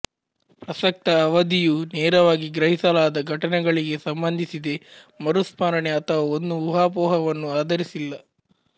ಪ್ರಸಕ್ತ ಅವಧಿಯು ನೇರವಾಗಿ ಗ್ರಹಿಸಲಾದ ಘಟನೆಗಳಿಗೆ ಸಂಬಂಧಿಸಿದೆ ಮರುಸ್ಮರಣೆ ಅಥವಾ ಒಂದು ಊಹಾಪೋಹವನ್ನು ಆಧರಿಸಿಲ್ಲ